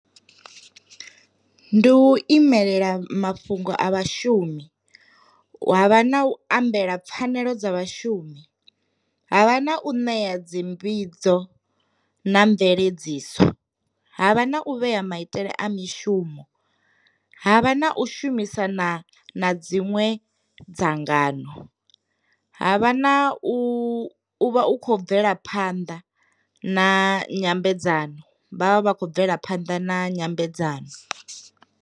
Ndi u imelela mafhungo a vhashumi, havha na u ambela pfhanelo dza vhashumi, havha na u ṋea dzi mbidzo na mveledziso, havha na u vhea maitele a mishumo, havha na u shumisa na na dziṅwe dzangano, havha na u vha u khou bvela phanḓa na nyambedzano vhavha vha khou bvela phanḓa na nyambedzano.